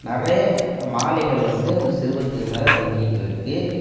நெறைய மாலைகள் வந்து இந்த சிர்பத்துக்கு மேல தொங்கிட்டு இருக்கு.